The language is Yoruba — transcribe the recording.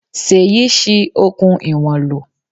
Sèyí ṣi okùn ìwọ̀n lò.